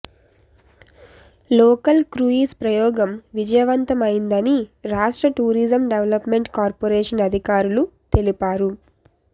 local cruise ప్రయోగం విజయవంతమైందని రాష్ర్ట tourism development corporation అధికారులు తెలిపారు